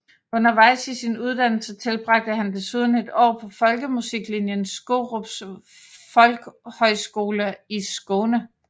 Undervejs i sin uddannelse tilbragte han desuden et år på folkemusiklinjen Skurups folkhögskola i Skåne